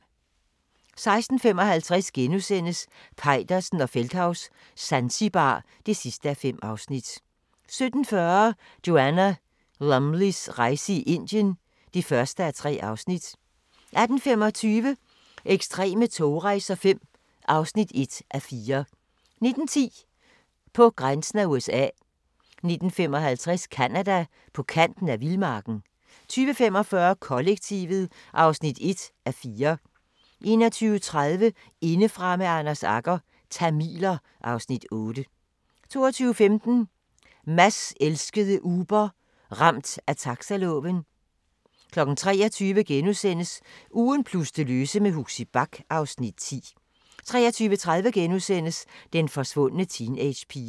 16:55: Peitersen og Feldthaus - Zanzibar (5:5)* 17:40: Joanna Lumleys rejse i Indien (1:3) 18:25: Ekstreme togrejser V (1:4) 19:10: På grænsen af USA 19:55: Canada: På kanten af vildmarken 20:45: Kollektivet (1:4) 21:30: Indefra med Anders Agger – Tamiler (Afs. 8) 22:15: Mads elskede Uber – Ramt af taxaloven 23:00: Ugen plus det løse med Huxi Bach (Afs. 10)* 23:30: Den forsvundne teenagepige *